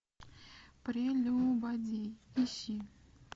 прелюбодей ищи